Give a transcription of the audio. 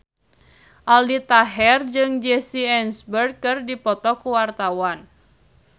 Aldi Taher jeung Jesse Eisenberg keur dipoto ku wartawan